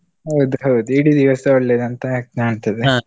ಹೌದು ಹೌದು ಇಡೀ ದಿವಸ ಒಳ್ಳೆದಂತ ಆ ಕಾಂತದೆ.